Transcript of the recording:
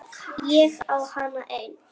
Ég á hana enn.